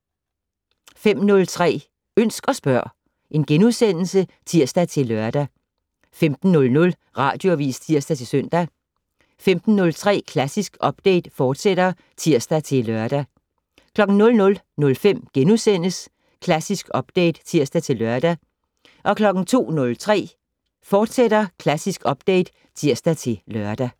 05:03: Ønsk og spørg *(tir-lør) 15:00: Radioavis (tir-søn) 15:03: Klassisk Update, fortsat (tir-lør) 00:05: Klassisk Update *(tir-lør) 02:03: Klassisk Update, fortsat (tir-lør)